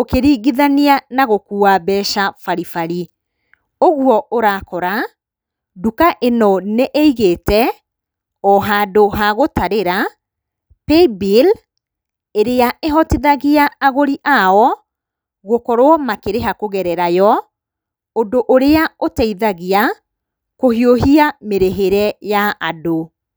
ũkĩringithania nagũkua mbeca baribari, ũguo ũrakora, nduka ĩno nĩĩigĩte ohandũ hagũtarĩra, paybill ĩrĩa ĩhotithagia agũri ayo gũkorwo makĩrĩha kũgerera yo, ũndũ ũrĩa ũtaithagia kũhiũhia mĩrĩhĩre ya andũ.